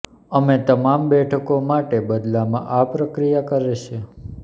અમે તમામ બેઠકો માટે બદલામાં આ પ્રક્રિયા કરે છે